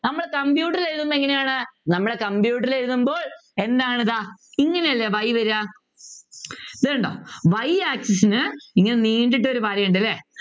നമ്മള് computer എഴുതുമ്പോ എങ്ങനെയാണു നമ്മള് computer ൽ എഴുതുമ്പോൾ എന്താണ് ദാ ഇങ്ങനെയല്ലേ y വരുക ഇതുകണ്ടോ y axis നു ഇങ്ങനെ നീണ്ടിട്ട് ഒരു വരയുണ്ട് അല്ലെ